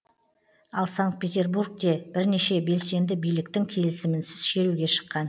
ал санкт петербургте бірнеше белсенді биліктің келісімінсіз шеруге шыққан